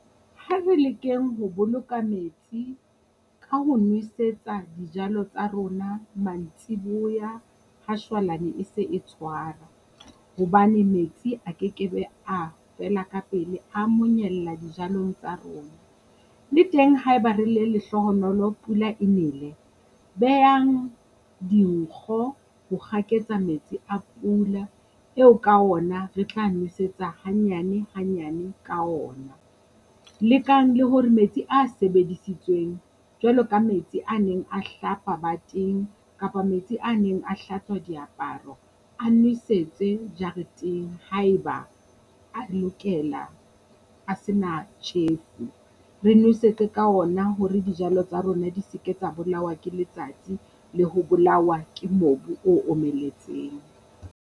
Ha re lekeng ho boloka metsi ka ho nwesetsa dijalo tsa rona mantsibuya ha shwalane e se e tshwara, hobane metsi a kekebe a fela ka pele a monyella dijalong tsa rona. Le teng haeba re le lehlohonolo pula e nele, behang dinkgo ho kgaketsa metsi a pula eo ka ona re tla nwesetsa hanyane hanyane ka ona. lekang le hore metsi a sebedisitsweng jwalo ka metsi a neng a hlapa bateng kapa metsi a neng a hlatswa diaparo a nwesetswe jareteng haeba a lokela a se na tjhefu. Re nwesetse ka ona hore dijalo tsa rona di se ke tsa bolawa ke letsatsi le ho bolawa ke mobu o omeletseng.